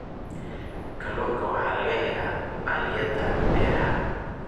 Kalluunka waxaa laga helaa balliyada beeraha.